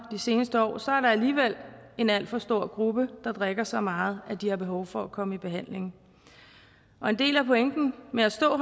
seneste år så er der alligevel en alt for stor gruppe der drikker så meget at de har behov for at komme i behandling og en del af pointen med at stå